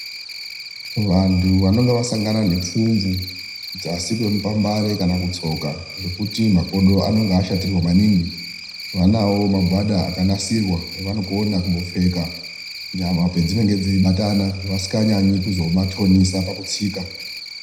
Vantu vanenge vasangana nepfumvu dzasi kwemupambare kana kutsoka zvekuti makodo anonga vashatirwa maningi vanawo magwada akanasirwa avonogona kumbopfeka nyama padzinenge dzeibatana vasinganyanyi kuzomatonesa pakutsika.